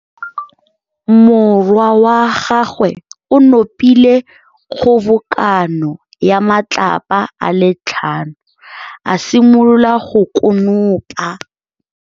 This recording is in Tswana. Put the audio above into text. Morwa wa gagwe o nopile kgobokanô ya matlapa a le tlhano, a simolola go konopa.